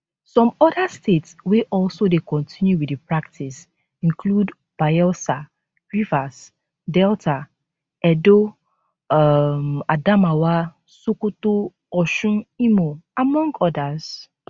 some oda states wey also dey continue wit di practice include bayelsa rivers delta edo um adamawa sokoto osun imo among odas